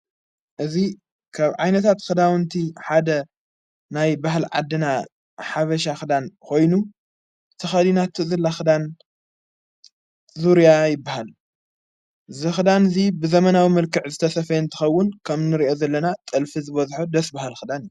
እዙይ ካብ ዓይነታት ኽዳዉንቲ ሓደ ናይ በሃል ዓድና ሓበሻ ኽዳን ኾይኑ ተኸዲናቱ ዘላ ኽዳን ዙርያናይ በሃል ዝኽዳን እዙይ ብዘመናዊ መልክዕ ዘተሰፈየን ትኸውን ከም ንርእዮ ዘለና ጠልፊ ዝበዘሖ ደስ በሃል ኽዳን፡፡